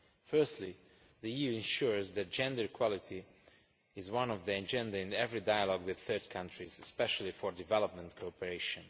Firstly, the EU ensures that gender equality is on the agenda in every dialogue with third countries, especially for development cooperation.